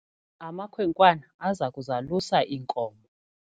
Amakhwenkwana aza kuzalusa iinkomo.